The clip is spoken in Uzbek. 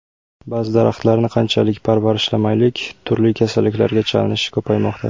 Ba’zi daraxtlarni qanchalik parvarishlamaylik, turli kasalliklarga chalinishi ko‘paymoqda.